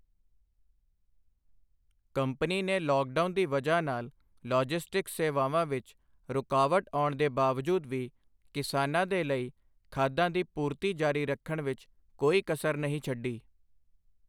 Company ਨੇ lockdown ਦੀ ਵਜ੍ਹਾ ਨਾਲ ਲੌਜਿਸਟਿਕਸ ਸੇਵਾਵਾਂ ਵਿੱਚ ਰੁਕਾਵਟ ਅਉਣ ਦੇ ਬਾਵਜੂਦ ਵੀ ਕਿਸਾਨਾਂ ਦੇ ਲਈ ਖਾਦਾਂ ਦੀ ਪੂਰਤੀ ਜਾਰੀ ਰੱਖਣ ਵਿੱਚ ਕੋਈ ਕਸਰ ਨਹੀਂ ਛੱਡੀ।